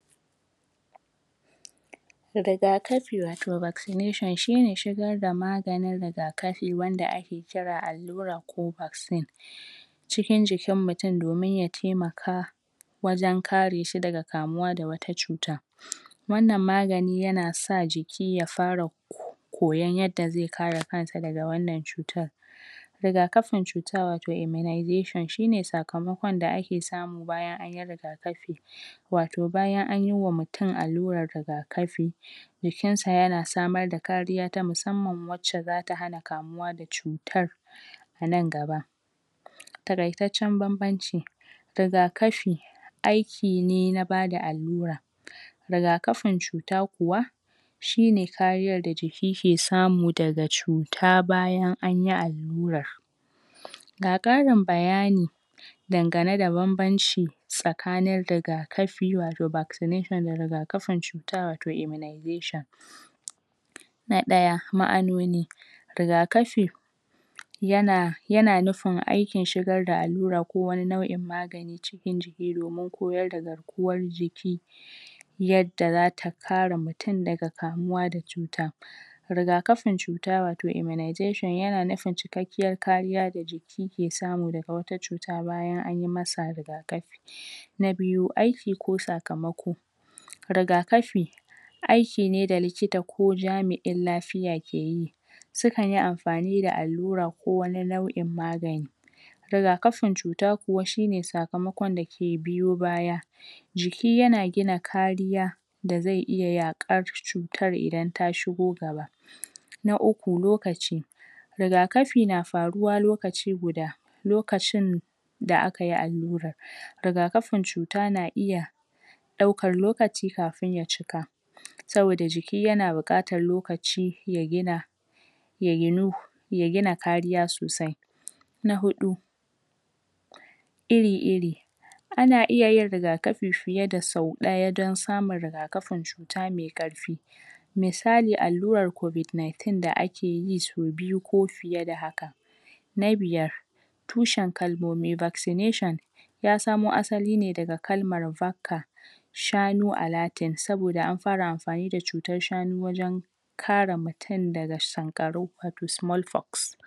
rigakafi wato ( vaccination ) shine shigarda maganin rigakafi wanda ake kira allura ko vaccine cikin jikin mutum domin ya taimaka wajan kareshi daga kamuwa daga wata cuta wannan magani yana sa jiki ya fara koyan yadda ze kare kansa daga wannan cutar rigakafin cuta wato immunisation shine sakamakon da ake samu anyi rigakafi wato bayan anyi wa mutum alluran rigakafi jikinsa yana samar da kariya ta mussanman wacce zata hana kamuwa da cutar anan gaba taraitaccen banbanci rigakafi aikine na bada allura rigakafin cuta kuwa shine kariyan da jiki ke samu daga cuta bayan anyi alluran ga karin bayani dangane da banbanci sakanin rigakafi wato (vaccination) da rigakafin cuta wato (immunisation) na daya ma'anoni rigakafi yana yana nufin aikin shigar da allura ko wani nau'in magani cikin jiki domin koyarda garkuwan jiki yadda zata kara mutum daga kamuwa da cuta riga rigakafin cuta wato (immunisation ) yana nufin cikakkiyar kariya da jiki ke samu daga wata cuta bayan an masa rigakafi na biyu aiki ko sakamako rigakafi aikine da likita ko jami'in lafiya ke yi sukanyi amfani da allura ko wani lau'in magani rigakafin cuta kuwa shine sakamakon dake biyo baya jiki yana gina kariya daze iya yakar cutar idan ta shigo gaba na uku lokaci rigakafi na faruwa lokaci guda lokacin da akayi allurar rigakaafin cuta na iya daukar lokaci kafin ya cika saboda jiki yana bukatan lokaci ya gina yaginu yagina kariya sosai na hudu iri iri ana iyayin rigakafi fiya da sau daya don samun rigakafin cuta mai karfi misalin alluran covic 19 da akeyi sau biyu ko fiyeda haka na biyar tushan kalmomi wato vaccination yasamo asaline daga kalman vacca shanu alerting saboda an fara amfanida da cutan shanu wajan kara mutum daga sankarau wato (small pox)